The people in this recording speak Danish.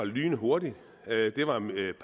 lynhurtigt det var